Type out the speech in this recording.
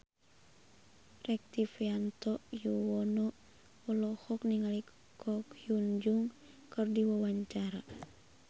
Rektivianto Yoewono olohok ningali Ko Hyun Jung keur diwawancara